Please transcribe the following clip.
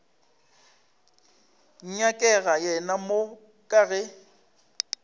nyakega yena mo ka ge